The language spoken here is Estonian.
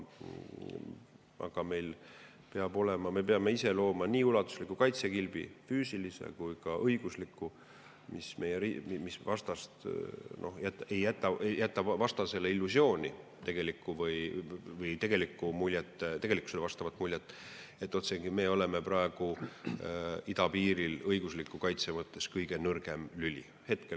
Aga meil peab see olema, me peame looma nii ulatusliku kaitsekilbi, füüsilise ja ka õigusliku, et see ei jäta vastasele illusiooni või tegelikkusele vastavat muljet, otsekui me oleksime praegu idapiiril õigusliku kaitse mõttes kõige nõrgem lüli.